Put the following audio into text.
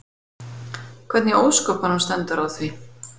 Hvernig í ósköpunum stendur á því?